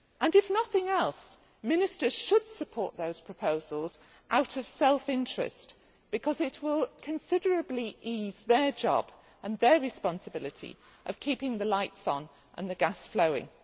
If nothing else, Ministers should support those proposals out of self interest because it will considerably ease their job and their responsibility of keeping the lights on and the gas flowing.